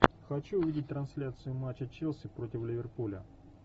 хочу увидеть трансляцию матча челси против ливерпуля